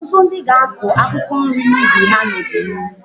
Ọtụtụ ndị ga-akụ akwụkwọ nri n'ubi ha n'ọdịnihu